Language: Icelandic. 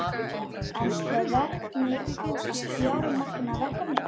En hvernig á að fjármagna verkefnið?